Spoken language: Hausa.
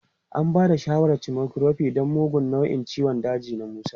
An ba da shawarar chemotherapy don mugun nau'in ciwon daji na Musa.